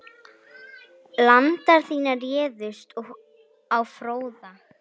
Landar þínir réðust á Fróða.